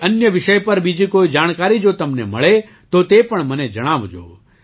કોઈ અન્ય વિષય પર બીજી કોઈ જાણકારી જો તમને મળે તો તે પણ મને જણાવજો